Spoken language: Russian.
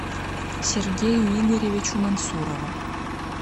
сергею игоревичу мансурову